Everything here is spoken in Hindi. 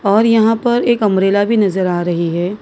और यहां पर एक अंब्रेला भी नजर आ रही है।